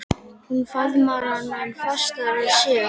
Hún faðmar hann enn fastar að sér.